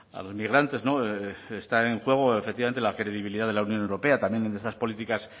los migrantes no está en juego efectivamente la credibilidad de la unión europea también en estas políticas